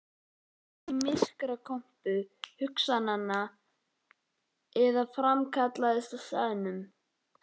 Landið hvarf inn í myrkrakompu hugans eða framkallaðist á staðnum.